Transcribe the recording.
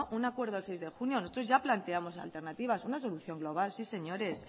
un acuerdo el seis de junio nosotros ya planteamos alternativas una solución global sí señores